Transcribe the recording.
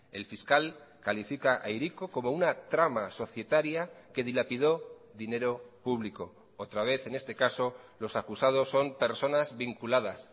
el fiscal califica a hiriko como una trama societaria que dilapidó dinero público otra vez en este caso los acusados son personas vinculadas